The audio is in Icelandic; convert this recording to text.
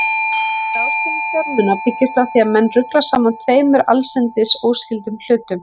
Slík ráðstöfun fjármuna byggist á því að menn rugla saman tveimur allsendis óskyldum hlutum.